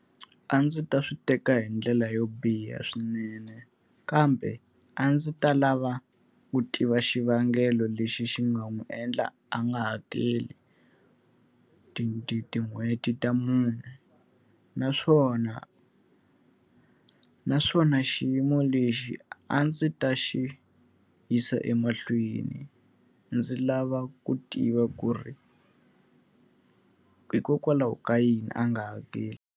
A ndzi ta swi teka hi ndlela yo biha swinene kambe, a ndzi ta lava ku tiva xivangelo lexi xi nga n'wi endla a nga hakeli tin'hweti ta mune. Naswona naswona xiyimo lexi a ndzi ta xi yisa emahlweni, ndzi lava ku tiva ku ri hikokwalaho ka yini a nga hakeli.